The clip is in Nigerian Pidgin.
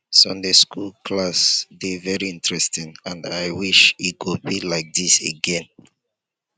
sunday school class dey very interesting and i wish e go be like dis again